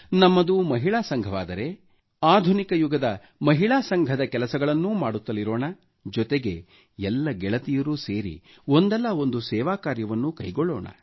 ನಮ್ಮದು ಮಹಿಳಾ ಸಂಘವಾದರೆ ಲೇಡಿಸ್ ಕ್ಲಬ್ ಆಧುನಿಕ ಯುಗದ ಮಹಿಳಾ ಸಂಘದ ಕೆಲಸಗಳನ್ನೂ ಮಾಡುತ್ತಲಿರೋಣ ಜೊತೆಗೆ ಎಲ್ಲ ಗೆಳತಿಯರು ಸೇರಿ ಒಂದಲ್ಲ ಒಂದು ಸೇವಾ ಕಾರ್ಯವನ್ನೂ ಕೈಗೊಳ್ಳೋಣ